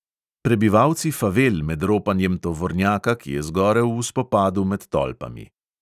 Prebivalci favel med ropanjem tovornjaka, ki je zgorel v spopadu med tolpami.